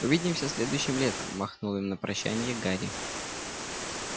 увидимся следующим летом махнул им на прощанье гарри